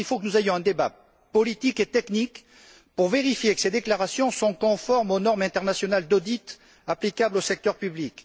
Je crois que nous devons avoir un débat politique et technique pour vérifier que ces déclarations sont conformes aux normes internationales d'audit applicables au secteur public.